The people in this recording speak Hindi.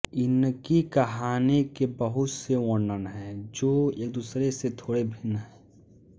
इनकी कहानी के बहुत से वर्णन हैं जो एक दुसरे से थोड़े भिन्न हैं